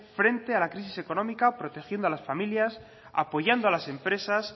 frente a la crisis económica protegiendo a las familias apoyando a las empresas